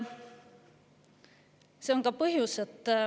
See on ka põhjus, miks …